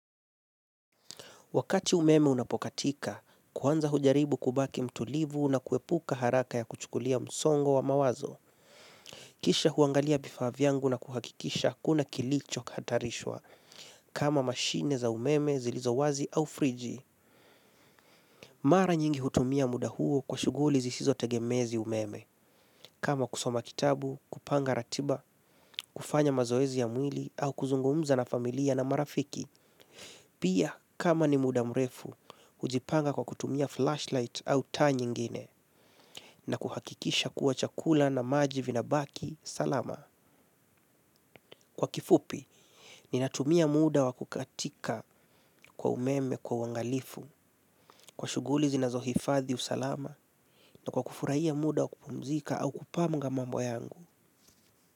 Wakati umeme unapokatika, kwanza hujaribu kubaki mtulivu na kuepuka haraka ya kuchukulia msongo wa mawazo. Kisha huangalia vifaa vyangu na kuhakikisha hakuna kilicho hatarishwa. Kama machine za umeme zilizowazi au friji. Mara nyingi hutumia muda huo kwa shughuli zisizotegemezi umeme. Kama kusoma kitabu, kupanga ratiba, kufanya mazoezi ya mwili au kuzungumza na familia na marafiki. Pia kama ni muda mrefu hujipanga kwa kutumia flashlight au taa nyingine na kuhakikisha kuwa chakula na maji vinabaki salama. Kwa kifupi, ninatumia muda wa kukatika kwa umeme kwa uangalifu, kwa shughuli zinazohifadhi usalama na kwa kufurahia muda wa kupumzika au kupanga mambo yangu.